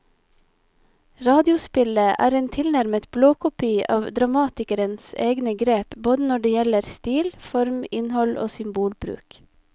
Radiospillet er en tilnærmet blåkopi av dramatikerens egne grep både når det gjelder stil, form, innhold og symbolbruk.